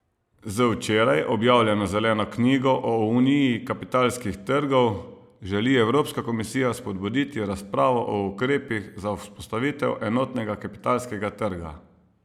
Z včeraj objavljeno zeleno knjigo o uniji kapitalskih trgov želi evropska komisija spodbuditi razpravo o ukrepih za vzpostavitev enotnega kapitalskega trga.